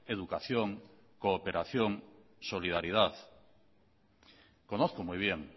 educación cooperación solidaridad conozco muy bien